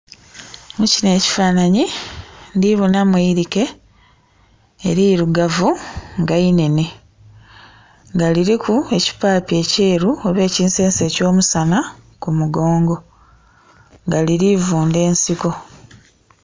Mu kino ekifanhanhi ndhi bonamu eilike elirugavu nga inhenhe. Nga liriku ekipaapi ekyeru oba ekinsense eky'omusana ku mugongo. Nga liri vundha ensiko.